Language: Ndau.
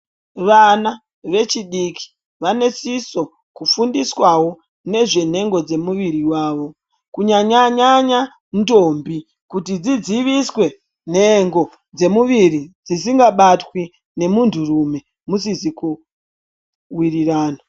Vana vechidiki vanosisa kufundiswawo nezvenhengo dzemuviri wavo kunyanyanyanya ndombi kuti dzidziviswe nhengo dzemuviri dzisingabatwi ngemunhurume musizi kuwirirana.